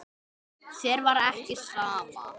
Þér var ekki sama.